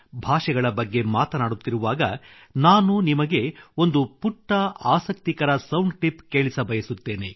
ಭಾಷೆಗಳ ಬಗ್ಗೆ ಮಾತನಾಡುತ್ತಿರುವಾಗ ನಾನು ನಿಮಗೆ ಒಂದು ಪುಟ್ಟ ಆಸಕ್ತಿಕರ ಸೌಂಡ್ ಕ್ಲಿಪ್ ಕೇಳಿಸಬಯಸುತ್ತೇನೆ